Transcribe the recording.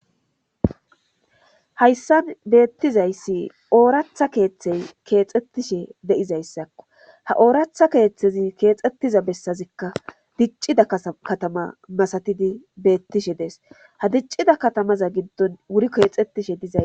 hayssan beettizayssi ooratha keeththey keexxettishe de7izayssakko ha ooratha keeththezi keexxettiza bessazikka diccida katama masatidi beettishe dees ha diccida katamaza giddon wuri keexettishe dizay